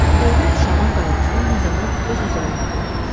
Dövlət uşağın qayğısını nə zaman öz üzərinə götürür?